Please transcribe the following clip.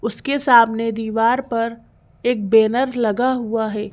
उसके सामने दीवार पर एक बैनर लगा हुआ है।